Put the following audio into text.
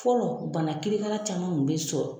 Fɔlɔ bana kirikara caman kun bi sɔrɔ